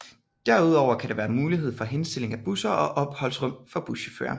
Derudover kan der være mulighed for henstilling af busser og opholdsrum for buschaufførerne